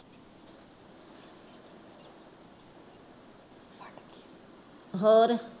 ਹੋਰ